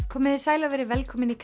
komiði sæl og verið velkomin í